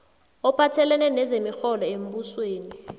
ophathelene nezemirholo yembusweni